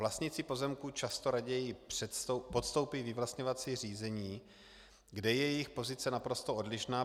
Vlastníci pozemků často raději podstoupí vyvlastňovací řízení, kde je jejich pozice naprosto odlišná.